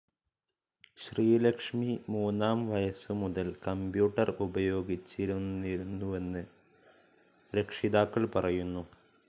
ശ്രീലക്ഷ്മി മൂന്നാം വയസ്സുമുതൽ കമ്പ്യൂട്ടർ ഉപയോഗിച്ചിരുന്നിരുന്നുവെന്ന് രക്ഷിതാക്കൾ പറയുന്നു.